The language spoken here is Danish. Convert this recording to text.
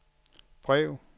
brev